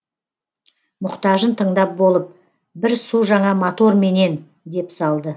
мұқтажын тыңдап болып бір су жаңа мотор менен деп салды